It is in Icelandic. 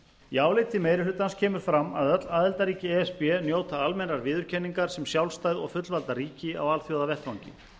í áliti meiri hlutans kemur fram að öll aðildarríki e s b njóta almennrar viðurkenningar sem sjálfstæð og fullvalda ríki á alþjóðavettvangi